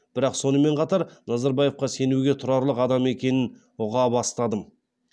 бірақ сонымен қатар назарбаевқа сенуге тұрарлық адам екенін ұға бастадым